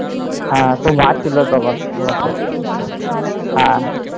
হ্যাঁ তোমার মা ছিল তখন